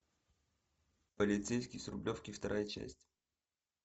полицейский с рублевки вторая часть